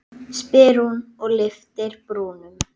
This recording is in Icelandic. spyr hún og lyftir brúnum.